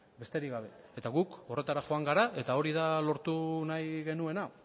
besterik gabe eta gu horretara joan gara eta hori da lortu nahi genuena